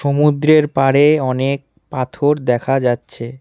সমুদ্রের পাড়ে অনেক পাথর দেখা যাচ্ছে।